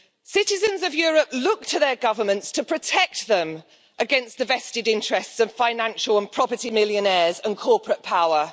Citizens of Europe look to their governments to protect them against the vested interests of financial and property millionaires and corporate power.